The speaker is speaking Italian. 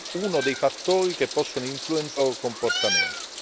uno dei fattori che possono influenzare il loro comportamento.